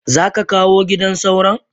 Zaka kawo gidan sauron?